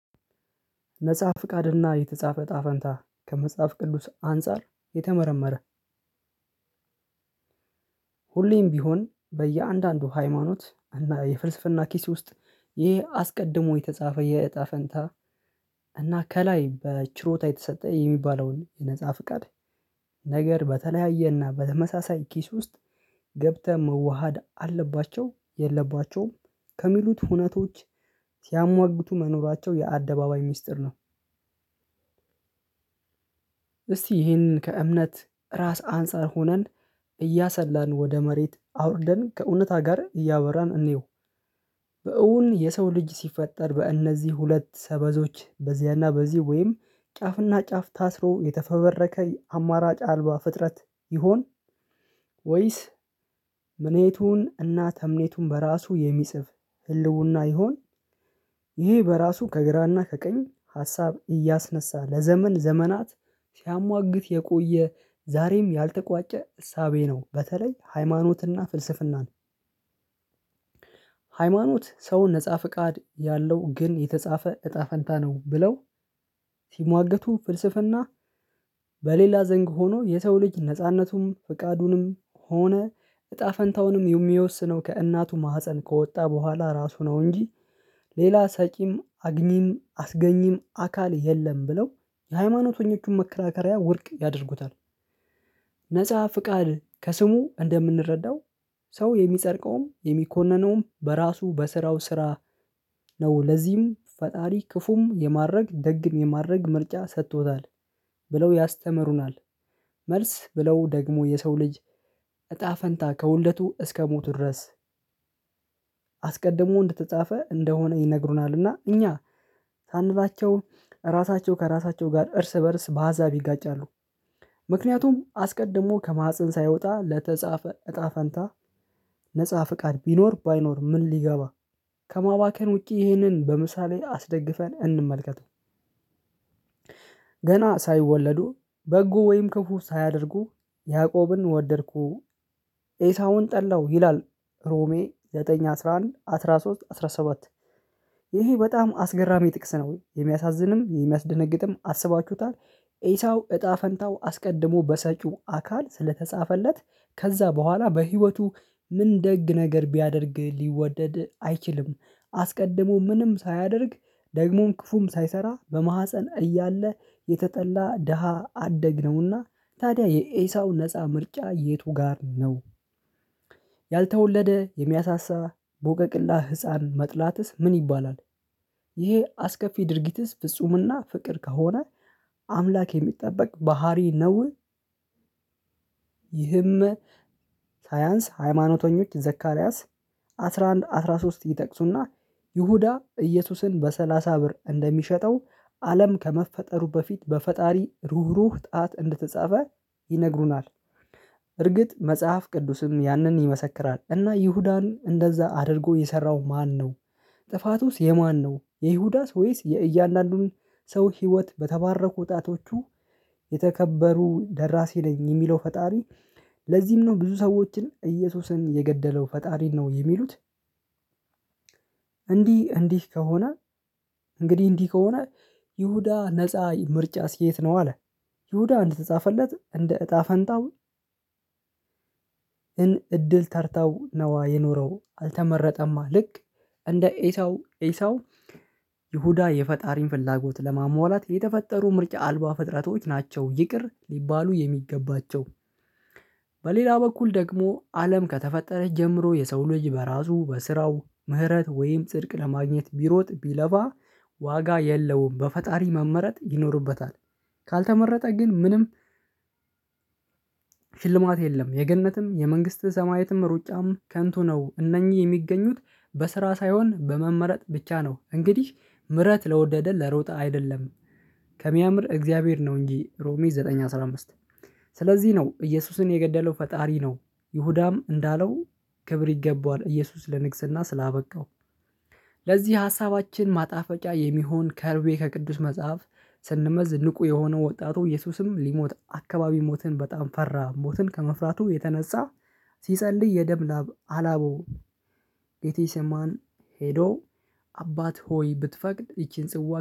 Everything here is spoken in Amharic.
ነፃ ፍቃድና የተጻፈ እጣ ፈንታ ከመጽሐፍ ቅዱስ አንፃር የተመረመረ ሁሌም ቢሆን በየአንዳንዱ ሃይማኖት የፍልስፍና ኪስ ውስጥ ይሄ አስቀድሞ የተጻፈ የእጣ ፈንታ እና ከላይ በችሮታ የተሰጠ የሚባለውን የነፃ ፍቃድ ነገር በተለያየና በተመሳሳይ ኪስ ውስጥ ገብተህ መዋሃድ አለባቸው የለባቸውም ከሚሉት ሁነቶች ሲያሟግቱ መኖራቸው የአደባባይ ሚስጥር ነው። እስቲ ይህንን ከእምነት ራስ አንፃር ሆነን እያሰላን ወደ መሬት አውርደን ከእውነታ ጋር እያወራን እንየው። በእውን የሰው ልጅ ሲፈጠር በእነዚህ ሁለት ሰበዞች በዚያና በዚህ ወይም ጫፍና ጫፍ ታስሮ የተፈበረከ የአማራጭ አልባ ፍጥረት ይሁን? ወይስ ምኔቱን እና ተምኔቱን በራሱ የሚጽፍ ህልውና ይሆን? ይሄ በራሱ ከግራና ከቀኝ ሀሳብ እያስነሳ ለዘመን ዘመናት ሲያሟግት የቆየ ዛሬም ያልተቋጨ እሳቤ ነው። በተለይ ሃይማኖትና ፍልስፍናን ሃይማኖት ሰውን ነፃ ፍቃድ ያለው ግን የተጻፈ እጣ ፈንታ ነው ብለው ሲሟገቱ ፍልስፍና። በሌላ ዘንግ ሆኖ የሰው ልጅ ነጻነቱም ፍቃዱንም ሆነ እጣ ፈንታውንም የሚወስነው ከእናቱ ማህፀን ከወጣ በኋላ ራሱ ነው እንጂ ሌላ ሰቂም አግኚም አስገኚም አካል የለም ብለው የሃይማኖተኞቹን መከራከሪያ ውድቅ ያደርጉታል። ነፃ ፍቃድ ከስሙ እንደምንረዳው ሰው የሚጸድቀውም የሚኮነነውም በራሱ በስራው ስራ ነው። ለዚህም ፈጣሪ ክፉም የማድረግ ደግም የማድረግ ምርጫ ሰጥቶታል ብለው ያስተምሩናል። መልስ ብለው ደግሞ የሰው ልጅ እጣ ፈንታ ከውልደቱ እስከሞቱ ድረስ አስቀድሞ እንደተጻፈ እንደሆነ ይነግሩናል። እና እኛ ሳንላቸው ራሳቸው ከራሳቸው ጋር እርስ በእርስ በሀሳብ ይጋጫሉ። ምክንያቱም አስቀድሞ ከማህፀን ሳይወጣ ለተጻፈ እጣ ፈንታ ነፃ ፍቃድ ቢኖር ባይኖር ምን ሊገባ? ከማባከን ውጪ ይህንን በምሳሌ አስደግፈን እንመልከተው። ገና ሳይወለዱ በጎ ወይም ክፉ ሳያደርጉ ያዕቆብን ወደድኩ ኤሳውን ጠላው ይላል። ሮሜ ዘጠኝ አስራ አንድ አስራ ሶስት አስራ ሰባት ይሄ በጣም አስገራሚ ጥቅስ ነው። የሚያሳዝንም የሚያስደነግጥም አስባችሁታል? ኤሳው እጣ ፈንታው አስቀድሞ በሰጪው አካል ስለተጻፈለት ከዛ በኋላ በህይወቱ ምን ደግ ነገር ቢያደርግ ሊወደድ አይችልም። አስቀድሞ ምንም ሳያደርግ ደግሞም ክፉም ሳይሰራ በማህፀን እያለ የተጠላ ደሃ አደግ ነውና። ታዲያ የኤሳው ነፃ ምርጫ የቱ ጋር ነው? ያልተወለደ የሚያሳሳ ቦቀቅላ ህፃን መጥላትስ ምን ይባላል? ይሄ አስከፊ ድርጊትስ ፍጹምና ፍቅር ከሆነ አምላክ የሚጠበቅ ባህሪ ነው? ይህም ሳያንስ ሃይማኖተኞች ዘካርያስ አስራ አንድ አስራ ሶስት ይጠቅሱና ይሁዳ እየሱስን በሰላሳ ብር እንደሚሸጠው አለም ከመፈጠሩ በፊት በፈጣሪ ሩህሩህ ጣት እንደተጻፈ ይነግሩናል። እርግጥ መጽሐፍ ቅዱስም ያንን ይመሰክራል። እና ይሁዳን እንደዛ አድርጎ የሰራው ማነው? ጥፋቱስ የማነው? የይሁዳስ ወይስ የእያንዳንዱን ሰው ህይወት በተባረኩ ጣቶቹ። የተከበሩ ደራሲ ነኝ የሚለው ፈጣሪ። ለዚህም ነው ብዙ ሰዎችን እየሱስን የገደለው ፈጣሪን ነው የሚሉት። እንዲህ እንዲህ ከሆነ እንግዲህ እንዲህ ከሆነ ይሁዳ ነፃ ምርጫስ የት ነው አለ? ይሁዳ እንደተጻፈለት እንደ እጣ ፈንታው። እን እድል ተርታው ነዋ የኖረው አልተመረጠማ ልክ እንደ ኤሳው ኤሳው። ይሁዳ የፈጣሪን ፍላጎት ለማሟላት የተፈጠሩ ምርጫ አልባ ፍጥረቶች ናቸው ይቅር ሊባሉ የሚገባቸው። በሌላ በኩል ደግሞ አለም ከተፈጠረች ጀምሮ የሰው ልጅ በራሱ በስራው ምህረት ወይም ጽድቅ ለማግኘት ቢሮጥ ቢለፋ ዋጋ የለውም በፈጣሪ መመረጥ ይኖርበታል። ካልተመረጠ ግን ምንም ሽልማት የለም የገነትም የመንግስተ ሰማያትም ሩጫም ከንቱ ነው። እነኚህ የሚገኙት በስራ ሳይሆን በመመረጥ ብቻ ነው። እንግዲህ ምህረት ለወደደ ለሮጠ አይደለም። ከሚያምር እግዚአብሔር ነው እንጂ ሮሜ ዘጠኝ አስራ አምስት። ስለዚህ ነው እየሱስን የገደለው ፈጣሪ ነው። ይሁዳም እንዳለው ክብር ይገባዋል እየሱስ ለንግስና ስላበቃው። ለዚህ ሀሳባችን ማጣፈጫ የሚሆን ከርቤ ከቅዱስ መጽሐፍ ስንመዝ ንቁ የሆነው ወጣቱ እየሱስም ሊሞት አካባቢ ሞትን በጣም ፈራ ሞትን ከመፍራቱም የተነሳ ሲጸልይ የደም ላብ አላበው። ጌቴ ሰማን ሄዶ አባት ሆይ ብትፈቅድ ይቺን ጽዋ